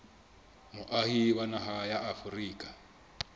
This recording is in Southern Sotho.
moahi wa naha ya afrika